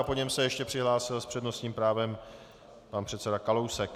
A po něm se ještě přihlásil s přednostním právem pan předseda Kalousek.